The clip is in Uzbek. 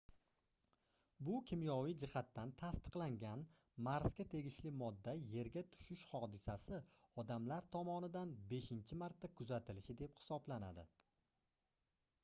bu kimyoviy jihatdan tasdiqlangan marsga tegishli modda yerga tushishi hodisasi odamlar tomomidan beshincha marta kuzatilishi deb hisoblanadi